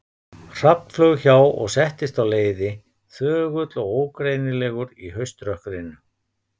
Hrafn flaug hjá og settist á leiði, þögull og ógreinilegur í hauströkkrinu.